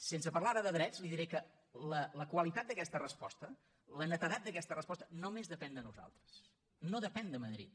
sense parlar ara de drets li diré que la qualitat d’aquesta resposta la netedat d’aquesta resposta només depèn de nosaltres no depèn de madrid